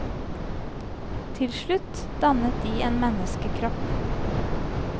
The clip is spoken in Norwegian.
Til slutt dannet de en menneskekropp.